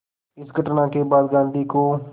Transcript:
इस घटना के बाद गांधी को